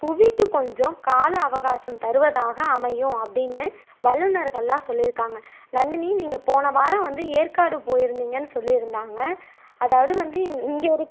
புவிக்கு கொஞ்சம் கால அவகாசம் தருவதாக அமையும் அப்படின்னு வல்லுநர்கள் எல்லாம் சொல்லியிருக்காங்க நந்தினி நீங்க போன வாரம் ஏற்காடு போயிருந்தீங்க சொல்லியிருந்தாங்க அதாவது வந்து இ இங்க இருக்க